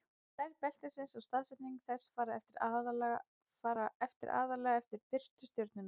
stærð beltisins og staðsetning þess fara eftir aðallega eftir birtu stjörnunnar